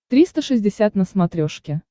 триста шестьдесят на смотрешке